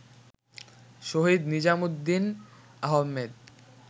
Shahid Nizamuddin Ahmed